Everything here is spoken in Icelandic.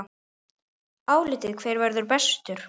Álitið: Hver verður bestur?